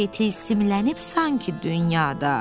hər şey tilsimlənib sanki dünyada.